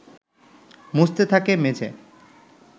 মুছতে থাকে মেঝে